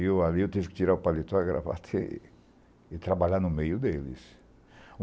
E ali eu tive que tirar o paletó e trabalhar no meio deles.